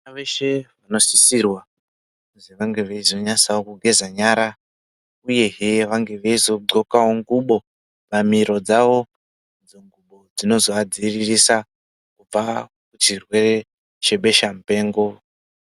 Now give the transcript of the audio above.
Vana veshe vanosisirwa kuzi vange veizonyasawo kugeza nyara uyezve vange veizodxokawo xubo pamiro dzavo idzo dzinozoadziviririsa kubva kuchirwere chebesha mupengo.